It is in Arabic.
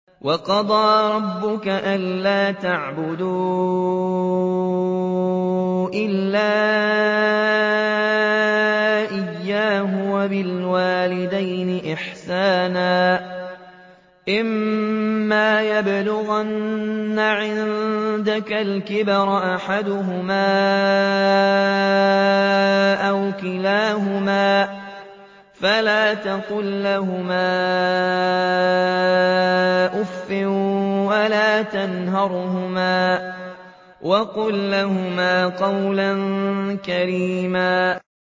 ۞ وَقَضَىٰ رَبُّكَ أَلَّا تَعْبُدُوا إِلَّا إِيَّاهُ وَبِالْوَالِدَيْنِ إِحْسَانًا ۚ إِمَّا يَبْلُغَنَّ عِندَكَ الْكِبَرَ أَحَدُهُمَا أَوْ كِلَاهُمَا فَلَا تَقُل لَّهُمَا أُفٍّ وَلَا تَنْهَرْهُمَا وَقُل لَّهُمَا قَوْلًا كَرِيمًا